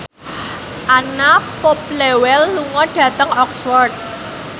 Anna Popplewell lunga dhateng Oxford